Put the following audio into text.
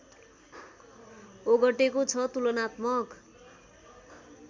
ओगटेको छ तुलनात्मक